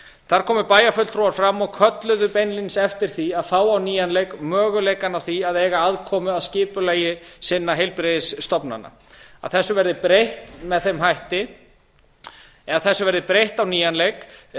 þar komu bæjarfulltrúar fram og kölluðu beinlínis eftir því að fá á á nýjan leik möguleikann á því að eiga aðkomu að skipulagi sinna heilbrigðisstofnana að þessu verði breytt með þeim hætti eða þessu verði breytt á nýjan leik